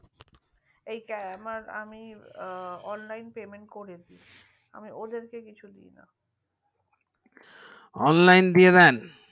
এই টা আমি online payment করে দিই আমি ওদেরকে কিছু দেয় না online দিয়ে দেন